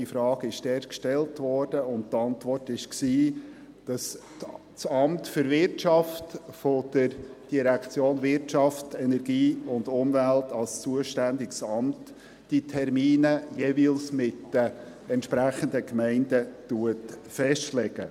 Diese Frage wurde dort gestellt, und die Antwort war, dass das Amt für Wirtschaft (AWI) der WEU als zuständiges Amt diese Termine jeweils mit den entsprechenden Gemeinden festlegt.